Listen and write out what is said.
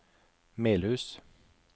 Melhus